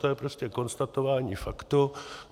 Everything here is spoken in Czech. To je prostě konstatování faktu.